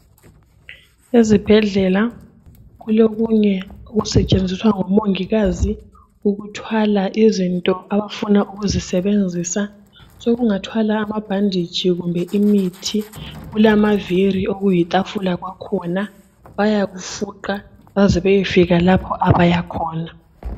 Ezibhedlela kulokunye okusetshenziswa ngomongikazi ukuthwala izinto abafuna ukuzisebenzisa sokungathwala amabhanditshi kumbe imithi kulamaviri okuyitafula kwakhona bayakufuqa baze bayefika lapha abayakhona.